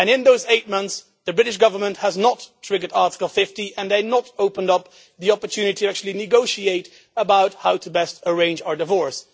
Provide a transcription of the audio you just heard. In those eight months the British Government has not triggered Article 50 and they have not opened up the opportunity to actually negotiate how best to arrange our divorce.